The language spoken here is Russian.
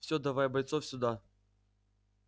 всё давай бойцов сюда